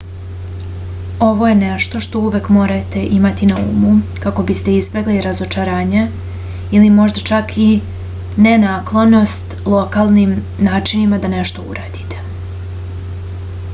ovo je nešto što uvek morate imati na umu kako biste izbegli razočarenje ili možda čak i nenaklonost lokalnim načinima da nešto uradite